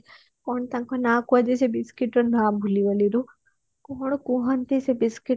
କଣ ତାଙ୍କ ନା କୁହାଯାଏ ସେ biscuit ର ମୁଁ ନା ଭୁଲି ଗଲି ରେ କଣ ଗୋଟେ କୁହନ୍ତି ସେ biscuit କୁ